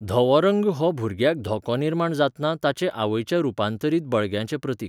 धवो रंग हो भुरग्याक धोको निर्माण जातना ताचे आवयच्या रुपांतरीत बळग्याचें प्रतीक.